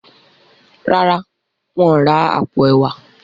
ràrá wón rà apo ẹwà.